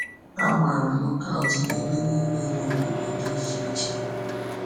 A gbàrà nọkaụt n’ebe niile n’obodo dị iche iche.